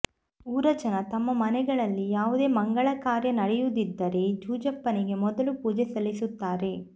ಊರ ಜನ ತಮ್ಮ ಮನೆಗಳಲ್ಲಿ ಯಾವುದೇ ಮಂಗಲ ಕಾರ್ಯ ನಡೆಯುವುದಿದ್ದರೆ ಜುಂಜಪ್ಪನಿಗೆ ಮೊದಲು ಪೂಜೆ ಸಲ್ಲಿಸುತ್ತಾರೆ